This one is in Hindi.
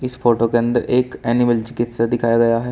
फोटो के अंदर एक एनिमल चिकित्सा दिखाया गया है।